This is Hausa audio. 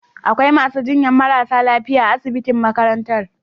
Akwai masu jinyar marasa lafiya a asibitin makarantan.